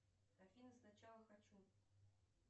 афина сначала хочу